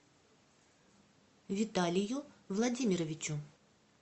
виталию владимировичу